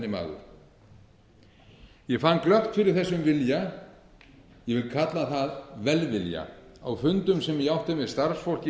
almenni maður ég fann glöggt fyrir þessum vilja ég vil kalla það velvilja á fundum sem ég átti með starfsfólki í